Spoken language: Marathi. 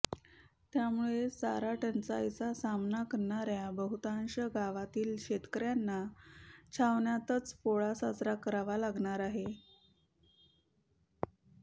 त्यामुळे चारा टंचाईचा सामना करणाऱ्या बहुतांश गावांतील शेतकऱ्यांना छावण्यांतच पोळा साजरा करावा लागणार आहे